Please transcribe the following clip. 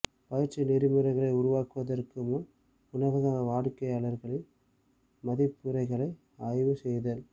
பயிற்சி நெறிமுறைகளை உருவாக்குவதற்கு முன்பு உணவக வாடிக்கையாளர்களின் மதிப்புரைகளை ஆய்வு செய்தல்